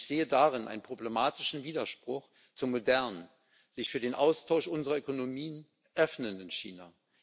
Ich sehe darin einen problematischen Widerspruch zum modernen, sich für den Austausch unserer Ökonomien öffnenden China.